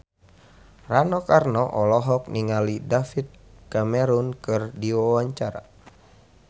Rano Karno olohok ningali David Cameron keur diwawancara